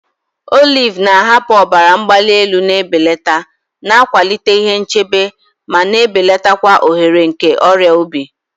Oliv na-ahapụ ọbara mgbali elu na-ebelata, na-akwalite ihe nchebe, ma na-ebelata ohere nke ọrịa obi.